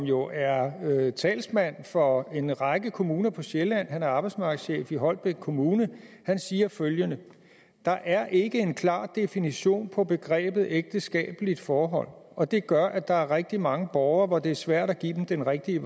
jo er talsmand for en række kommuner på sjælland han er arbejdsmarkedschef i holbæk kommune han siger følgende der er ikke en klar definition på begrebet ægteskabeligt forhold og det gør at der er rigtig mange borgere det er svært at give den rigtige